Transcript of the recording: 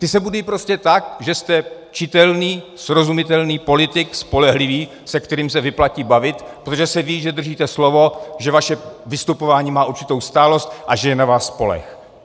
Ty se budují prostě tak, že jste čitelný srozumitelný politik, spolehlivý, se kterým se vyplatí bavit, protože se ví, že držíte slovo, že vaše vystupování má určitou stálost a že je na vás spoleh.